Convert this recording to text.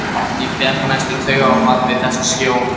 Árný fékk næstum taugaáfall við þessa sjón.